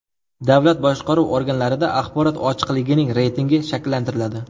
Davlat boshqaruvi organlarida axborot ochiqligining reytingi shakllantiriladi.